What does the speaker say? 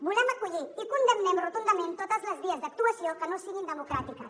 volem acollir i condemnem rotundament totes les vies d’actuació que no siguin democràtiques